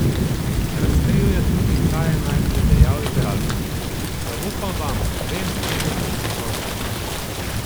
Razkril je tudi, kaj je najprej dejal igralcem: 'Zaupam vam, vem, česa ste sposobni.